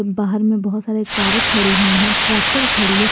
बाहर में बहुत सारे कारें खड़ी हुई हैं ट्रैक्टर खड़ी है।